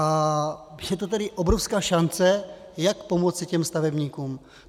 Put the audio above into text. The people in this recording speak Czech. A je to tedy obrovská šance, jak pomoci těm stavebníkům.